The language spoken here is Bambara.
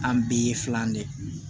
An bɛɛ ye filan de ye